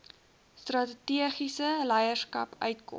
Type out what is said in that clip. strategiese leierskap uitkoms